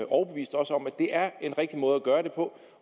overbevist os om at det er en rigtig måde at gøre det på